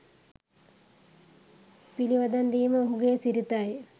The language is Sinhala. පිළිවදන් දීම ඔහුගේ සිරිතයි.